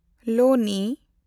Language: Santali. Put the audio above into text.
ᱞᱳᱱᱤ